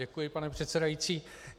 Děkuji, paní předsedající.